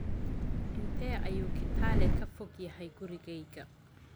Intee ayuu Kitale ka fog yahay gurigayga?